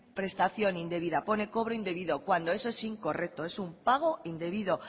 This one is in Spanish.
prestación indebida pone cobro indebido cuando eso es incorrecto es un pago indebido